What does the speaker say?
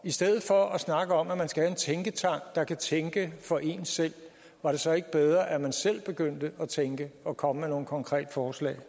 i stedet for at snakke om at man skal have en tænketank der kan tænke for en selv var det så ikke bedre at man selv begyndte at tænke og komme med nogle konkrete forslag